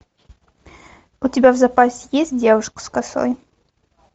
у тебя в запасе есть девушка с косой